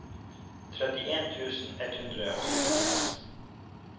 trettien tusen ett hundre og syttiseks